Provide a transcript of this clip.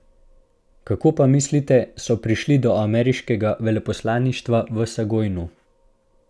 Kako pa, mislite, so prišli do ameriškega veleposlaništva v Sajgonu?